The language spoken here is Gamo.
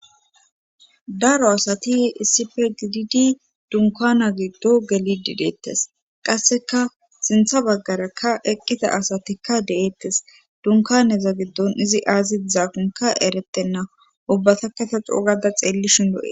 daro asati issife gididi dunkana giddo gelidi deettes qasseka sintha baggarakka eqqida asatikka deeettes dunkaneza giddon izi aazid zaakonka eretenna ubbata kata coogada xeelli shin o7e